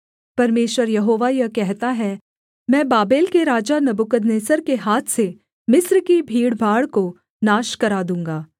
परमेश्वर यहोवा यह कहता है मैं बाबेल के राजा नबूकदनेस्सर के हाथ से मिस्र की भीड़भाड़ को नाश करा दूँगा